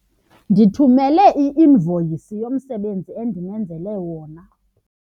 Ndithumele i-invoyisi yomsebenzi endimenzele wona.